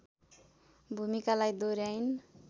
भूमिकालाई दोहर्‍याइन्